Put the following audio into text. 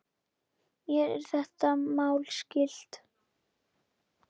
Mér er þetta mál skylt.